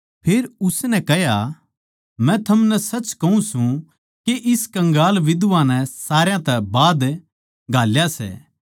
फेर उसनै कह्या मै थमनै सच कहूँ सूं के इस कंगाल बिधवा नै सारया तै बाध घाल्या सै